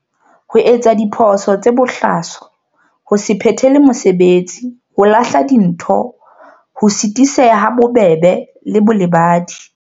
Ho etsa diphoso tse bohlaswa ho se phethele mesebetsi ho lahla dintho ho sitiseha ha bobebe le bolebadi.